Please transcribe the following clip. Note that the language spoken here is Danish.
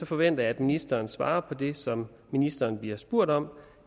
forventer jeg at ministeren svarer på det som ministeren bliver spurgt om